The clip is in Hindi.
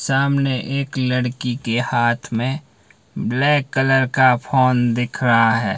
सामने एक लड़की के हाथ में ब्लैक कलर का फोन दिख रहा है।